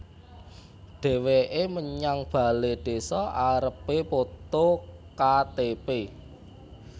Dheweke menyang bale désa arepe poto Ka Te Pe